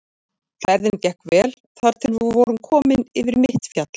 Ferðin gekk vel þar til við vorum komnir yfir mitt fjall.